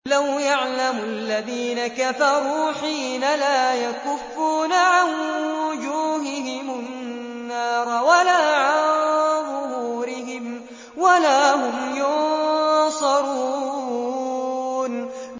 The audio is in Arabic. لَوْ يَعْلَمُ الَّذِينَ كَفَرُوا حِينَ لَا يَكُفُّونَ عَن وُجُوهِهِمُ النَّارَ وَلَا عَن ظُهُورِهِمْ وَلَا هُمْ يُنصَرُونَ